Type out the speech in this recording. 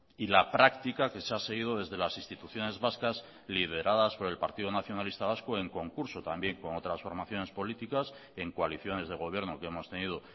y la práctica que se ha seguido desde las instituciones vascas lideradas por el partido nacionalista vasco en concurso también con otras formaciones políticas en coaliciones de gobierno que hemos tenido